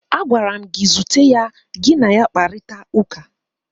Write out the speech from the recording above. Agwara m gị, zute ya, gị na ya kparịtara ụka!